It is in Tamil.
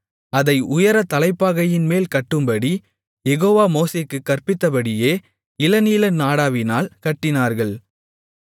அதை உயர தலைப்பாகையின்மேல் கட்டும்படி யெகோவா மோசேக்குக் கற்பித்தபடியே இளநீல நாடாவினால் கட்டினார்கள்